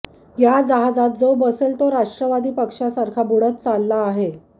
या जहाजात जो बसेल तो राष्ट्रवादी पक्षासारखा बुडत चालला आहे